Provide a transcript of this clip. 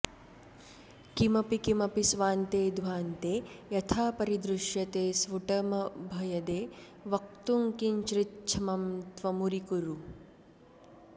किमपि किमपि स्वान्ते ध्वान्ते यथा परिदृश्यते स्फुटमभयदे वक्तुं किञ्चिच्छ्रमं त्वमुरीकुरु